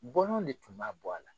Bɔlɔn de tun b'a bɔ a la.